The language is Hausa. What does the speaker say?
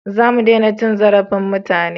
Za mu dena cin zarafin mutane